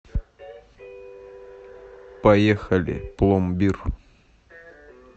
поехали пломбир